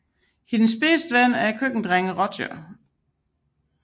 Hendes bedste ven er køkkendrengen Roger